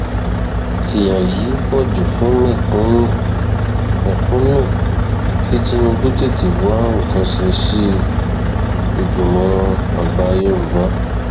ìyá yìí pọ jù fún mẹkúnnù mẹkúnnù kí tinubu tètè wá nǹkan ṣe sí i ìgbìmọ àgbà yorùbá